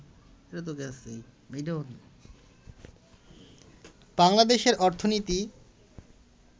বাংলাদেশে অর্থনীতি